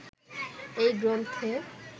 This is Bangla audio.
এই গ্রন্থে